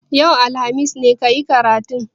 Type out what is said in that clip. Yau, alhamis, ne ka yi karatun?